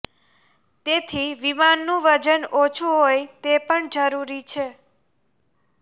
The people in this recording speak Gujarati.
તેથી વિમાનનું વજન ઓછું હોય તે પણ જરૂરી છે